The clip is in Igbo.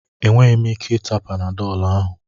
Enweghị m ike ịta panadọlụ ahụ.